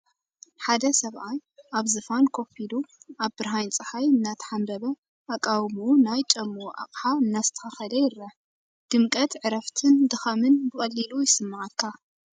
ሓደ ሰብኣይ ኣብ ዝፋን ኮፍ ኢሉ፡ ኣብ ብርሃን ጸሓይ እናተሓንበበ፡ ኣቃውምኡ ናይ ጫምኡ ኣቕሑ እናስተኻኸለ ይርአ። ድምቀት ዕረፍትን ድኻምን ብቐሊሉ ይስመዓካ።